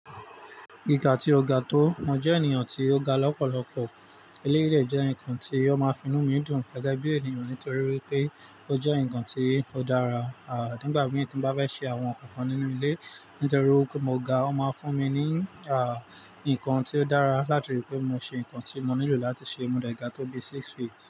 Ìga tí o ga tó, mo jẹ́ ènìyàn tí o ga lọ́pọ̀lọpọ̀. Eléyìí dèjẹ́ nkan tí o ma fínú mi dùn gẹ́gẹ́ bí ènìyàn nítorí wípé ó jẹ́ nkan tí ó dára. Ah nígbà mìí tímo bá fẹ́ ṣe àwọn nkan kan nínú ilé nítorí wípé mo ga, ó ma fún mi ní ah nkan tí ó dára láti rí pé mo ṣe nkan tí mo nílò láti ṣe. Mo dé ga tó bí six feet.